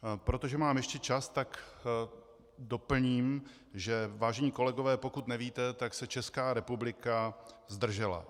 Protože mám ještě čas, tak doplním, že - vážení kolegové, pokud nevíte, tak se Česká republika zdržela.